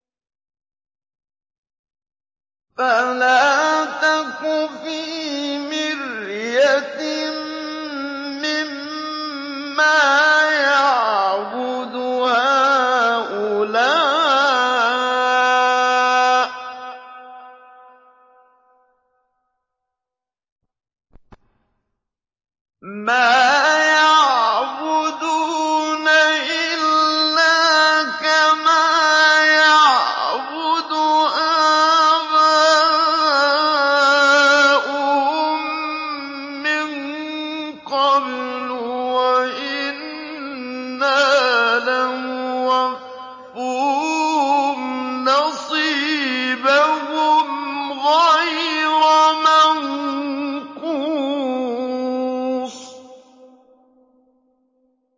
فَلَا تَكُ فِي مِرْيَةٍ مِّمَّا يَعْبُدُ هَٰؤُلَاءِ ۚ مَا يَعْبُدُونَ إِلَّا كَمَا يَعْبُدُ آبَاؤُهُم مِّن قَبْلُ ۚ وَإِنَّا لَمُوَفُّوهُمْ نَصِيبَهُمْ غَيْرَ مَنقُوصٍ